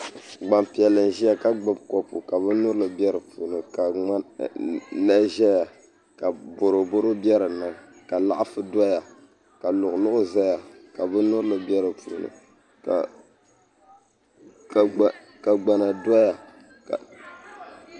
Gbanpiʋlli n ʒiya ka gbubi kopu ka bin nyurili bɛ di puuni ka ŋmani ʒɛya ka boroboro bɛ dinni ka laɣafu doya ka luɣu luɣu ʒɛya ka bin nyurili bɛ di puuni ka gbana doya